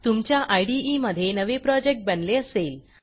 तुमच्या इदे मधे नवे प्रोजेक्ट बनले असेल